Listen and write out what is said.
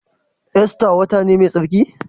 Ista wata ne mai tsarki?